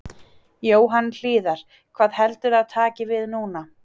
Jóhann Hlíðar: Hvað heldurðu að taki við núna?